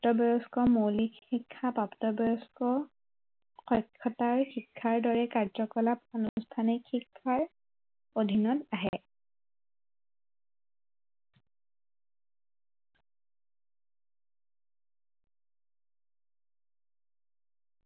প্ৰাপ্তবয়স্ক মৌলিক শিক্ষা প্ৰাপ্তবয়স্ক, অক্ষতাৰ শিক্ষাৰ দৰে কাৰ্য্য়কলাপ অনুষ্ঠানিক শিক্ষাৰ অধীনত আহে